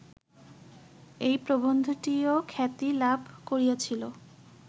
এই প্রবন্ধটিও খ্যাতি লাভ করিয়াছিল